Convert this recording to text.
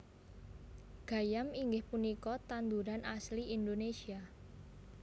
Gayam inggih punika tanduran asli Indonesia